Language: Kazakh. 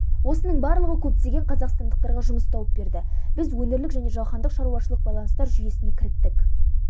осының барлығы көптеген қазақстандықтарға жұмыс тауып берді біз өңірлік және жаһандық шаруашылық байланыстар жүйесіне кіріктік